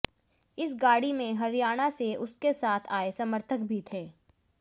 इस गाड़ी में हरियाणा से उसके साथ आए समर्थक भी थे